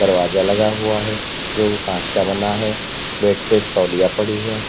दरवाजा लगा हुआ है जो कांच का बना है बेड पे एक तौलिया पड़ी है।